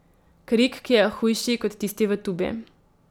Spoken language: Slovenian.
Krik, ki je hujši kot tisti v tubi.